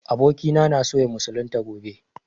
Abokina na so ya musulunta gobe